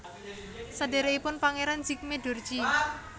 Sadhèrèkipun Pangeran Jigme Dorji